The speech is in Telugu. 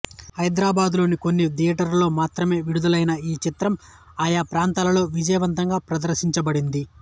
హైదరాబాదులోని కొన్ని థియేటర్లలో మాత్రమే విడుదలైన ఈ చిత్రం ఆయా ప్రాంతాలలో విజయవంతంగా ప్రదర్శించబడింది